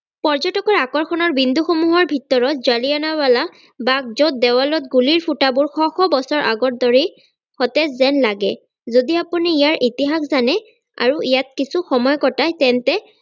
পৰ্যতকৰ আকৰ্ষণৰ বিন্দুসমূহৰ ভিতৰত জালিয়ানাবালা বাগ যত দেৱালত গুলিৰ ফুটাবোৰ শ শ বছৰ আগৰ দৰেই সতেজ যেন লাগে যদি আপুনি ইয়াৰ ইতিহাস জানে আৰু ইয়াত কিছু সময় কটায় তেন্তে